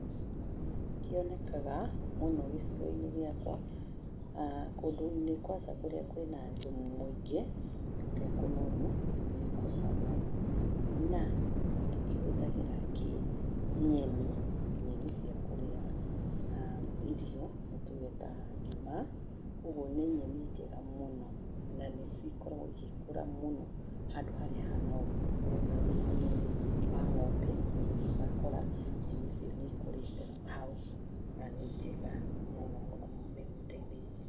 ĩĩ nĩ kĩonekaga mũno gĩcigo-inĩ gĩakwa, kũndũ-inĩ kũrĩa kwĩna thumu mũingĩ, kũrĩa kũnoru nĩgĩkũraga mũno na tũkĩhũthagĩra kĩ nyeni, nyeni cia kũrĩa irio nĩ tuge ta ngima, koguo nĩ nyeni njega mũno na nĩcikoragwo igĩkũra mũno handũ harĩa hanoru koguo ta thumu-inĩ wa ng'ombe nĩ ũgũthiĩ ũgakora nyamũ icio nĩ ikũrĩte hau na nĩ njega mũno mũno mĩgunda-inĩ.